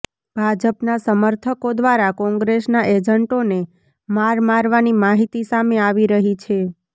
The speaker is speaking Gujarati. ભાજપના સમર્થકો દ્વારા કોંગ્રેસના એજન્ટોને માર મારવાની માહિતી સામે આવી રહી છે